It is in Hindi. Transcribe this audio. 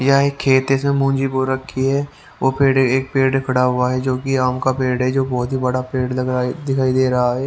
या एक खेत है इसमें मूंजी बो रखी है वो पेड़ एक पेड़ खड़ा हुआ है जो कि आम का पेड़ है जो बहुत ही बड़ा पेड़ लग रहा है दिखाई दे रहा है।